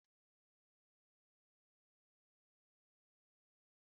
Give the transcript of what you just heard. Ụtọ ugu n'enye ofe Ifeoma na-amasị ya